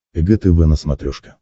эг тв на смотрешке